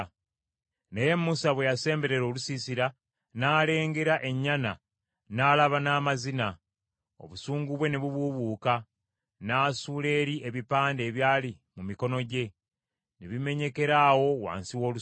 Naye Musa bwe yasemberera olusiisira, n’alengera ennyana, n’alaba n’amazina; obusungu bwe ne bubuubuuka, n’asuula eri ebipande ebyali mu mikono gye, ne bimenyekera awo wansi w’olusozi.